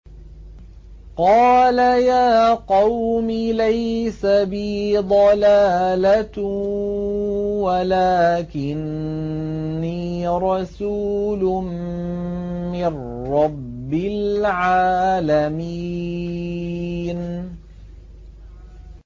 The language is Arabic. قَالَ يَا قَوْمِ لَيْسَ بِي ضَلَالَةٌ وَلَٰكِنِّي رَسُولٌ مِّن رَّبِّ الْعَالَمِينَ